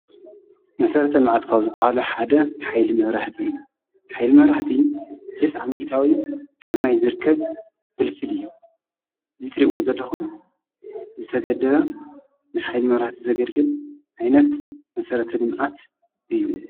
መሠረት ኣልመዓትካ ዝብሃሉ ሓደ ኃይሊ ምውርህቲ ኃይል መራህቲ ተስ ዓሚእታዊ ካብ ማይ ዘርከብ ፍልፍል እዩ እዙይ ትሪእዎ ዘለኹም ዝተገድ ንኃይል መራህቲ ዘገድግል ዓይነት መሠረተልምዓት እዩ።